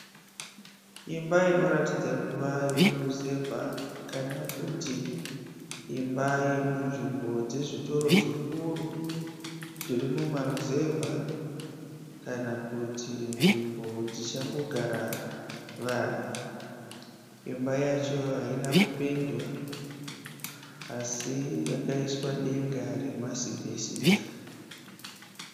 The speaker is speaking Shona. Imba inoratidza kuva yokuruzevha kana kuti imba yemunzvimbo dzezvitoro zvikuru zvemumaruzevha kana kuti nzvimbo ichangogara vanhu. imba yacho haina kupendwa asi yakaiswa denga remasibhesita